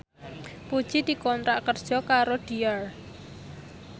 Puji dikontrak kerja karo Dior